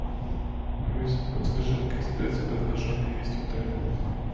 алиса подскажи какие спецпредложения есть в отеле